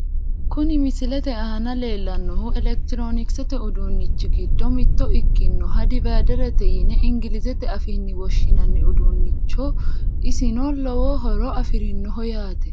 kuni misilete aana leellannohu elekitiroonikisete uduunnichi giddo mitto ikkinohu dividerete yine ingilizete afiinni woshshinanni uduunnichooyi isno lowo horo afirinoho yaate.